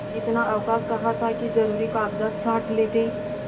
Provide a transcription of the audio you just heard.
इतना अवकाश कहाँ था कि जरुरी कागजात छॉँट लेते